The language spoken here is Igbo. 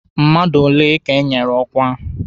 Mmadụ ole ka enyere ọkwa?